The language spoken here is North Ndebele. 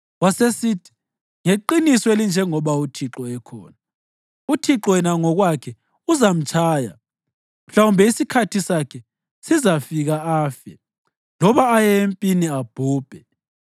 Wasesithi, “Ngeqiniso elinjengoba uThixo ekhona, uThixo yena ngokwakhe uzamtshaya; mhlawumbe isikhathi sakhe sizafika afe, loba aye empini abhubhe.